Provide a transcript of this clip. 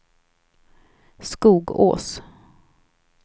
Skogås